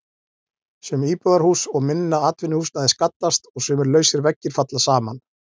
Sum íbúðarhús og minna atvinnuhúsnæði skaddast og sumir lausir veggir falla saman.